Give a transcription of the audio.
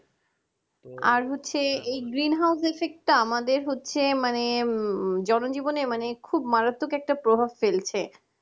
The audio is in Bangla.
আর হচ্ছে এই গ্রিন হাউস গ্যাসের effect একটা আমাদের হচ্ছে মানে জনজীবনে মানে খুব মারাত্মক একটা প্রভাব ফেলছে